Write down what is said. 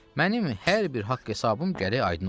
Mənim hər bir haqq-hesabım gərək aydın olsun.